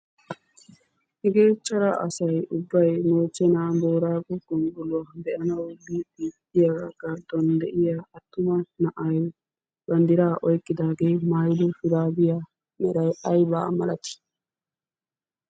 Hegee cora asay ubbay moochche naa booraago gonggoluwa be'anawu biiddi diyagaattuwan attuma na'ay banddiraa oyikkidaagee mayido shuraabiya meray ayi malatii?